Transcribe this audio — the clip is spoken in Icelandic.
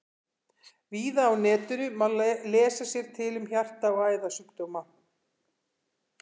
Víða á netinu má lesa sér til um hjarta- og æðasjúkdóma.